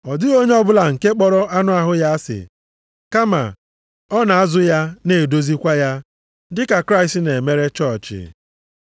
Ọ dịghị onye ọbụla nke kpọrọ anụ ahụ ya asị. Kama, ọ na-azụ ya na-edozikwa ya, dị ka Kraịst na-emere chọọchị.